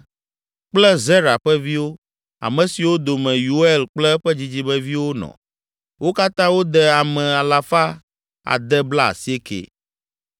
kple Zera ƒe viwo, ame siwo dome Yeuel kple eƒe dzidzimeviwo nɔ. Wo katã wode ame alafa ade blaasieke (690).